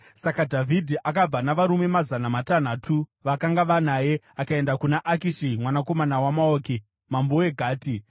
Saka Dhavhidhi akabva navarume mazana matanhatu vakanga vanaye akaenda kuna Akishi mwanakomana waMaoki mambo weGati.